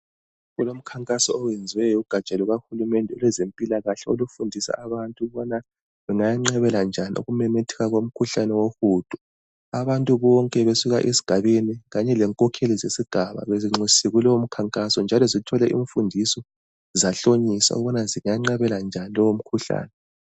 Kulomkhankaso oyenziweyo lugatsha lukahulumende olwezempilakahle olufundisa abantu ukuthi benganqabela njani umkhuhlane wohudo. Abantu bonke esigabeni kanye lenkokheli zesigaba bezinxusiwe kulowo mkhankaso njalo zithole imfundiso zahlonyiswa ukubana zinganqabela njani lowomkhuhlane.